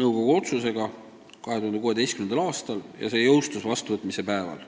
nõukogu otsusega 2016. aastal ja see jõustus vastuvõtmise päeval.